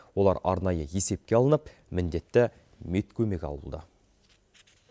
олар арнайы есепке алынып міндетті медкөмек алуда